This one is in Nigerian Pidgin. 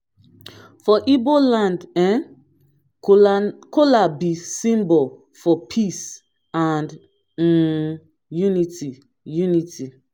for igbo land um kola b symbol for peace and um unity unity